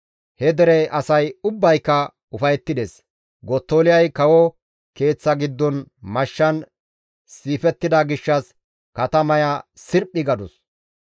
He dere asay ubbayka ufayettides; Gottoliyay kawo keeththa giddon mashshan siifettida gishshas katamaya sirphi gadus.